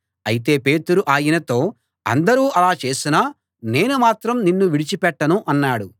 అయితే పేతురు ఆయనతో అందరూ అలా చేసినా నేను మాత్రం నిన్ను విడిచి పెట్టను అన్నాడు